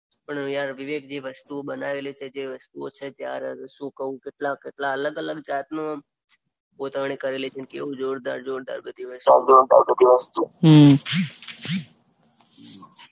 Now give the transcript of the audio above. પણ યાર વિવેકજી વસ્તુઓ બનાવેલી છે જે વસ્તુઓ છે શું કઉ કેટલા અલગ અલગ જાતની કોતરણી કરેલી છે અને કેવી જોરદાર બધી વસ્તુઓ.